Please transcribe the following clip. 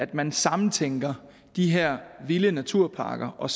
at man sammentænker de her vilde naturparker og